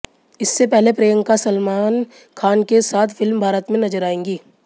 इससे पहले प्रियंका सलामन खान के साथ फिल्म भारत में नजर आएंगी